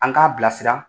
An k'a bilasira